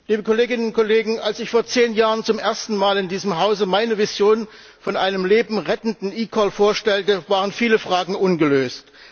Herr Präsident, liebe Kolleginnen und Kollegen! Als ich vor zehn Jahren zum ersten Mal in diesem Hause meine Vision von einem lebensrettenden eCall vorstellte, waren viele Fragen ungelöst.